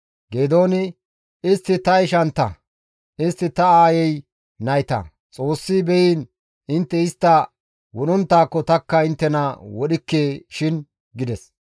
Geedooni, «Istti ta ishantta; istti ta aayey nayta; Xoossi beyiin intte istta wodhonttaako tanikka inttena wodhikke shin» gides.